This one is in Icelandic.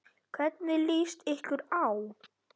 Hvernig lýst ykkur á?